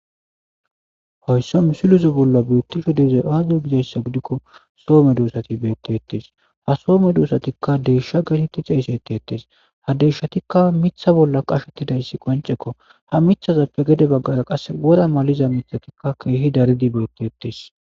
Haysa misileza bolla betishe dizay aze gizaysa gidiko? Soo medosati beetettes. Ha soo medosatika Deeshsha geeteti xesetetetes. Ha Deeshshatika miththa bolla qashshetidayssi qonc'ekko. Ha miththazappe gede baggara qasse wora maliza miththati keehi daridi beetettes.